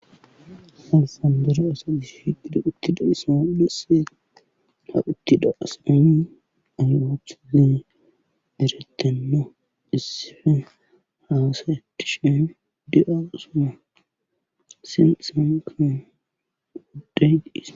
Alfandore asa gish hitida uttida isaudesse ha uttida asami ayroptsilene derettenno issifen haasa edti sheemi de'a asuma sin isanka udday diis.